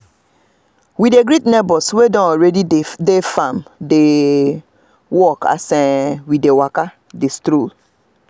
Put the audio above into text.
naso i see say terminates don start comot near the okro plant this morning